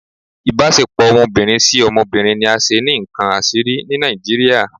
Ibasepo ọmọbirin si ọmọbirin ni a ṣe ni nkán asiri ni Nijiriria